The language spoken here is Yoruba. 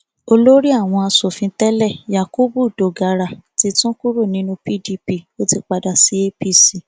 olórí àwọn asòfin tẹlẹ yakubu dogara ti tún kúrò nínú pdp ó ti padà sí apc